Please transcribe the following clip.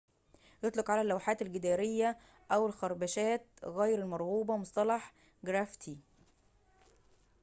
يطلق على اللوحات الجدارية أو الخربشات غير المرغوبة مصطلح الجرافيتي